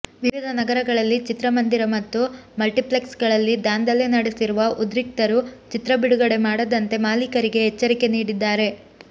ವಿವಿಧ ನಗರಗಳಲ್ಲಿ ಚಿತ್ರಮಂದಿರ ಮತ್ತು ಮಲ್ಟಿಪ್ಲೆಕ್ಸ್ಗಳಲ್ಲಿ ದಾಂದಲೆ ನಡೆಸಿರುವ ಉದ್ರಿಕ್ತರು ಚಿತ್ರ ಬಿಡುಗಡೆ ಮಾಡದಂತೆ ಮಾಲೀಕರಿಗೆ ಎಚ್ಚರಿಕೆ ನೀಡಿದ್ದಾರೆ